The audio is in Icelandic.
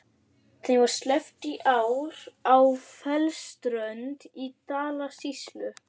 Þeim var sleppt í ár á Fellsströnd í Dalasýslu.